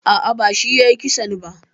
A'a, bashi yayi kissan ba.